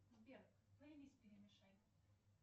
сбер плейлист перемешай